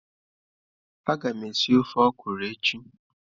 Agam esi ofe okwụrụ echi.